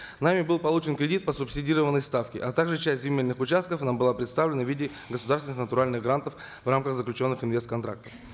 нами был получен кредит по субсидированной ставке а также часть земельных участков нам была предоставлена в виде государственных натуральных грантов в рамках заключенных инвест контрактов